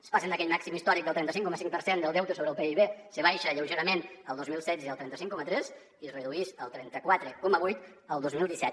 es passa d’aquell màxim històric del trenta cinc coma cinc per cent del deute sobre el pib se baixa lleugerament el dos mil setze al trenta cinc coma tres i es reduïx al trenta quatre coma vuit el dos mil disset